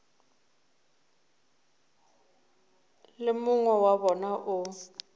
le mongwe wa bona o